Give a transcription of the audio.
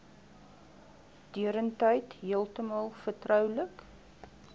deurentyd heeltemal vertroulik